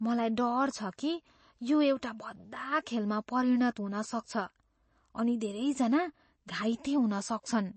मलाई डर छ कि यो एउटा भद्दा खेलमा परिणत हुन सक्छ अनि धेरैजना घाइते हुन सक्छन्।